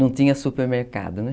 Não tinha supermercado, né?